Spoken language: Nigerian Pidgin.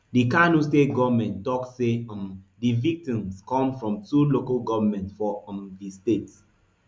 di kano state goment tok say um di victims come from two local goments for um di state